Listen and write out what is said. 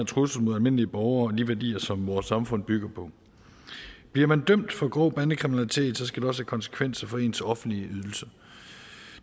trussel mod almindelige borgere og de værdier som vores samfund bygger på bliver man dømt for grov bandekriminalitet skal det også have konsekvenser for ens offentlige ydelser